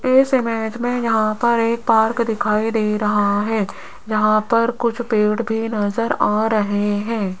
इस इमेज मे यहां पर एक पार्क दिखाई दे रहा है जहां पर कुछ पेड़ भी नज़र आ रहे है।